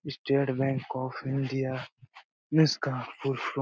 state Bank of India इसका full form --